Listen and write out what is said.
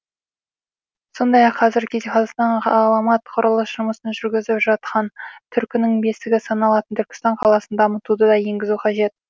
сондай ақ қазіргі кезде қазақстан ғаламат құрылыс жұмысын жүргізіп жатқан түркінің бесігі саналатын түркістан қаласын дамытуды да енгізу қажет